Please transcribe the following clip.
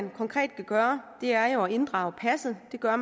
vi konkret kan gøre er jo at inddrage passet det gør